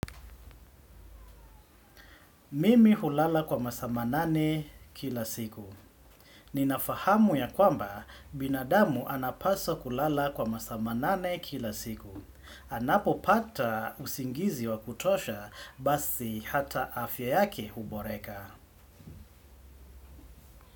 Mimi hulala kwa masaa manane kila siku. Nina fahamu ya kwamba binadamu anapasa kulala kwa masaa manane kila siku. Anapo pata usingizi wa kutosha basi hata afya yake huboreka.